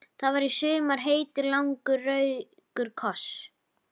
Það var í sumar heitur, langur og rakur koss.